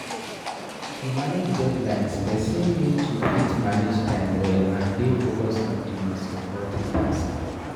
To manage deadlines, person need to fit manage time well and dey focused on di most important tasks